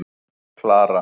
Klara